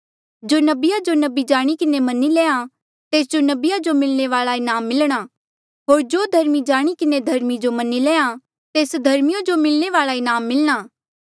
जो नबिया जो नबी जाणी किन्हें मन्नी लेया तेस जो नबिया जो मिलणे वाल्आ इनाम मिलणा होर जो धर्मी जाणी किन्हें धर्मी जो मन्नी लेया तेस धर्मीयो जो मिलणे वाल्आ इनाम मिलणा